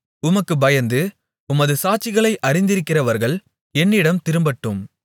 உமக்குப் பயந்து உமது சாட்சிகளை அறிந்திருக்கிறவர்கள் என்னிடம் திரும்பட்டும்